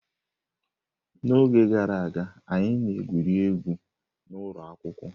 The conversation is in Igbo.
N'oge gara aga, anyị na-egwuri egwu n'ụlọ akwụkwọ.